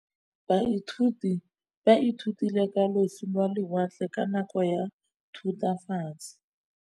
Baithuti ba ithutile ka losi lwa lewatle ka nako ya Thutafatshe.